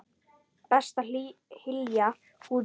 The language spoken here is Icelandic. Best er að hylja húðina.